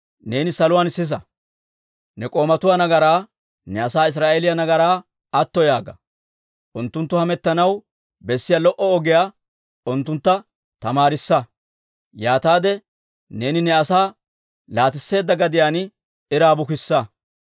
neeni saluwaan sisa. Ne k'oomatuwaa nagaraa, ne asaa Israa'eeliyaa nagaraa atto yaaga. Unttunttu hamettanaw bessiyaa lo"o ogiyaa unttuntta tamaarissa; yaataade neeni ne asaa laatisseedda gadiyaan iraa bukissa.